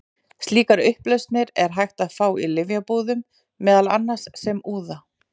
Slíkar upplausnir er hægt að fá í lyfjabúðum, meðal annars sem úða.